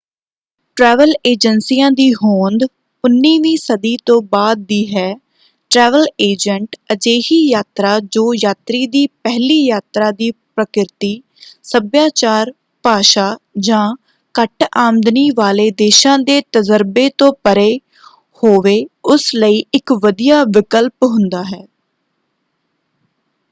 Travel ਏਜੰਸੀਆਂ ਦੀ ਹੋਂਦ 19ਵੀਂ ਸਦੀ ਤੋਂ ਬਾਅਦ ਦੀ ਹੈ। ਟਰੈਵਲ ਏਜੰਟ ਅਜਿਹੀ ਯਾਤਰਾ ਜੋ ਯਾਤਰੀ ਦੀ ਪਹਿਲੀ ਯਾਤਰਾ ਦੀ ਪ੍ਰਕਿਰਤੀ ਸੱਭਿਆਚਾਰ ਭਾਸ਼ਾ ਜਾਂ ਘੱਟ ਆਮਦਨੀ ਵਾਲੇ ਦੇਸ਼ਾਂ ਦੇ ਤਜਰਬੇ ਤੋਂ ਪਰੇ ਹੋਵੇ ਉਸ ਲਈ ਇੱਕ ਵਧੀਆ ਵਿਕਲਪ ਹੁੰਦਾ ਹੈ।